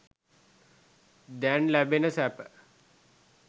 දැන් ලැබෙන සැප.